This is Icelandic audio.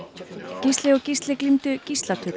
Gísli og Gísli glímdu gíslatöku